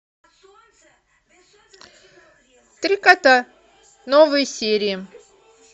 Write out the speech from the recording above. три кота новые серии